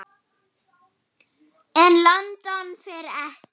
En London fer ekki.